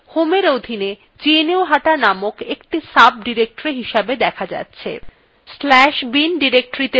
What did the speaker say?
slash bin directoryত়ে যেতে